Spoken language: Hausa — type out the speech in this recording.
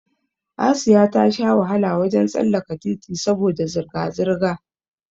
Asiya ta sha wahala wajen tsallaka titi saboda zirga zirga